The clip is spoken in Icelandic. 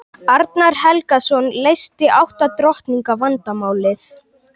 Arnar Helgason leysti átta drottninga vandamálið.